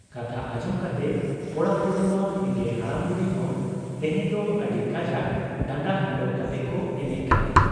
ᱠᱟᱛᱷᱟ ᱟᱸᱡᱚᱢ ᱠᱟᱛᱮ ᱠᱚᱲᱟ ᱠᱩᱲᱤᱢᱟ ᱦᱮᱸᱜᱮ ᱦᱟᱲᱟᱢ ᱵᱩᱰᱷᱤ ᱦᱚᱸ ᱛᱮᱦᱮᱧ ᱫᱚ ᱟᱹᱰᱤ ᱠᱟᱡᱟᱠ ᱰᱟᱸᱰᱟ ᱦᱤᱞᱟᱹᱣ ᱠᱟᱛᱮᱠᱚ ᱮᱱᱮᱡ ᱠᱟᱱᱟ ᱾